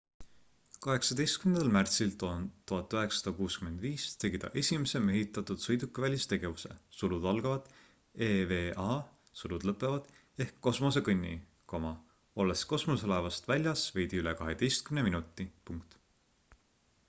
18. märtsil 1965 tegi ta esimese mehitatud sõidukivälise tegevuse eva ehk kosmosekõnni olles kosmoselaevast väljas veidi üle kaheteistkümne minuti